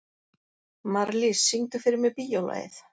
Marlís, syngdu fyrir mig „Bíólagið“.